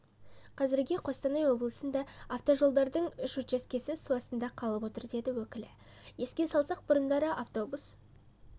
қазірге қостанай облысында автожолдардың үш учаскесі су астында қалып отыр деді өкілі еске салсақ бұрындары автобус